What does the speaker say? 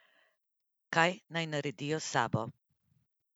Kaj naj naredijo s sabo?